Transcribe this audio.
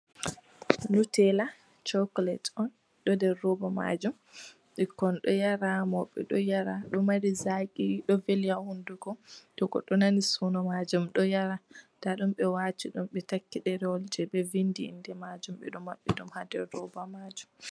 Nutella chocolate on ɗo nder roba majum, ɓikkon ɗo yara mauɓe ɗo yara, ɗo mari zaqi ɗo veli ha hunduko, to goɗɗo nani soono majum ɗo yara, nda ɗum ɓe wati ɗum ɓe taggi ɗerewol jei ɓe vindi inde majum ɓe ɗo maɓɓi ɗum ha roba majum.